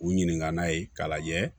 U ɲininka n'a ye k'a lajɛ